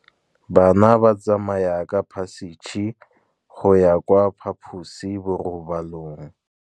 Bana ba tsamaya ka phašitshe go ya kwa phaposiborobalong.